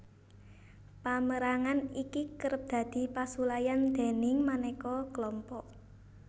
Pamérangan iki kerep dadi pasulayan déning manéka klompok